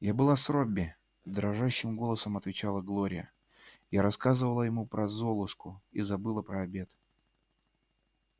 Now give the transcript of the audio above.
я была с робби дрожащим голосом отвечала глория я рассказывала ему про золушку и забыла про обед